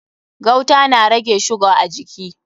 Gauta na rage shuga a jiki.